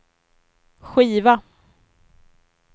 skiva